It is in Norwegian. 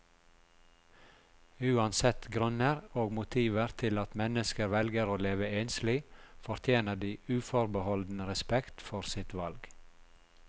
Uansett grunner og motiver til at mennesker velger å leve enslig, fortjener de uforbeholden respekt for sitt valg.